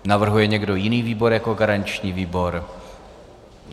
Navrhuje někdo jiný výbor jako garanční výbor?